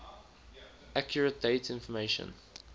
accurate date information